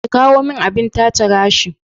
ki kawo min abin-tace gashi.